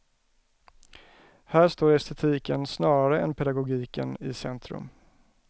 Här står estetiken snarare än pedagogiken i centrum.